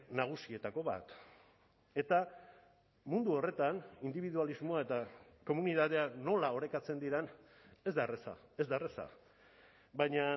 nagusietako bat eta mundu horretan indibidualismoa eta komunitatea nola orekatzen diren ez da erraza ez da erraza baina